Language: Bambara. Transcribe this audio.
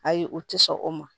Ayi u ti sɔn o ma